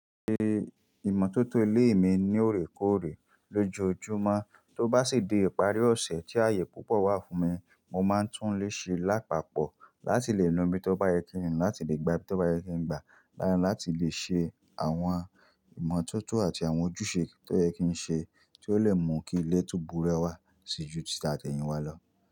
Ṣe ìmọ́tótó ilé mi ní òrèkóòrè lójoójúmọ́, tó bá sì dé ìparí ọ̀sẹ̀ tí àyè púpọ̀ wà fún mi, mo máa ń tún lé ṣe lápapọ̀ láti lè lọ́ mi tó bá yẹ kí n lọ, láti lè gba tí ó bá yẹ kí n gba, lára láti lè ṣe àwọn ìmọ́tótó àti àwọn ojúṣe tó yẹ kí n ṣe tó lè mú kí ilé tó búrọ̀ wà ṣejú títá ẹ̀yìn wa lọ.